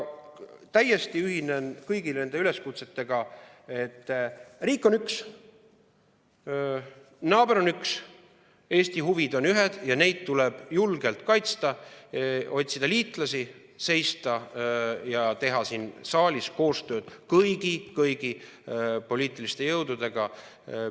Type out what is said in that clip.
Täiesti ühinen kõigi nende üleskutsetega, et riik on üks, naaber on üks, Eesti huvid on ühed ja neid tuleb julgelt kaitsta, otsida liitlasi, teha siin saalis koostööd kõigi poliitiliste jõududega.